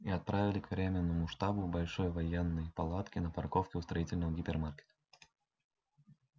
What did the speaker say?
и отправили к временному штабу большой военной палатке на парковке у строительного гипермаркета